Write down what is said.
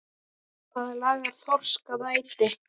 Hvað laðar þorsk að æti?